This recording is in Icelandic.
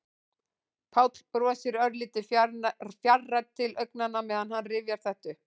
Páll brosir, örlítið fjarrænn til augnanna meðan hann rifjar þetta upp.